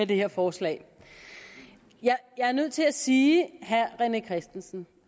det her forslag jeg er nødt til at sige herre rené christensen